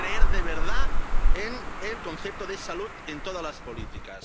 creer, de verdad, en el concepto de salud en todas las políticas